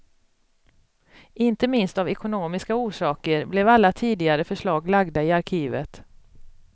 Inte minst av ekonomiska orsaker blev alla tidigare förslag lagda i arkivet.